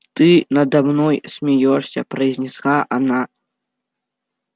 ты надо мной смеёшься произнесла она